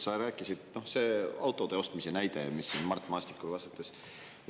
autode ostmise näite Mart Maastikule vastates.